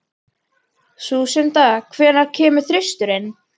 Lúsinda, hvenær kemur þristurinn?